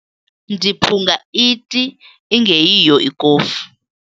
Ndiphunga iti ingeyiyo ikofu.